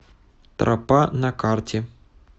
тропа на карте